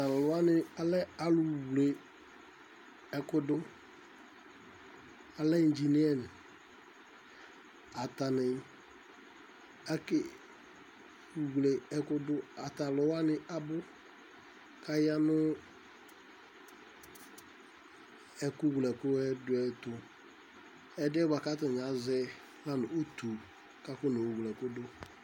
Tʋ alʋ wanɩ lɛ alʋwle ɛkʋ dʋ Alɛ indzineyɛn Atanɩ akewle ɛkʋ dʋ Ata alʋ wanɩ abʋ kʋ aya nʋ ɛkʋwlɛ ɛkʋ dʋ yɛ tʋ Ɛdɩb yɛ bʋa kʋ atanɩ azɛ la nʋ utu kʋ akɔnewle ɛkʋ dʋ